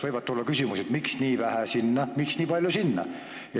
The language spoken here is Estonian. Võivad ju tulla küsimused, et miks nii vähe sinna, miks nii palju sinna.